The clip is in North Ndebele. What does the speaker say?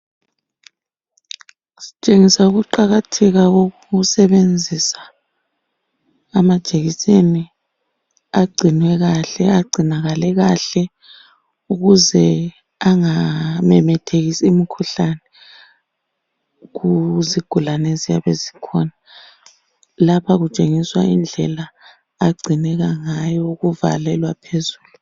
Sitshengisa ukuqakatheka kokusebenzisa amajikiseni agcinwe kahle. Agcinakale kahle ukuze angamemethekisi imikhuhlane kuzigulane eziyabe zikhona. Lapha kutshengiswa indlela agcineka ngayo ukuvalelwa phezulu.